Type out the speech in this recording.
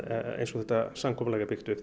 eins og þetta samkomulag er byggt upp